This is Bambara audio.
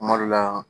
Kuma dɔ la